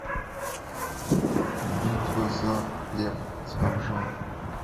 битва за хлеб с бомжами